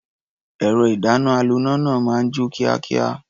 Ẹ̀rọ-ìdáná-aloná náà máa ń jó kíákíá.